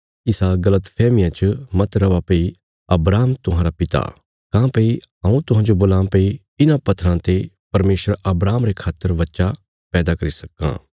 इसा गल़तफैहमिया च मत रौआ भई अब्राहम तुहांरा पिता काँह्भई हऊँ तुहांजो बोलां भई इन्हां पत्थराँ ते परमेशर अब्राहमा रे खातर बच्चा पैदा करी सक्कां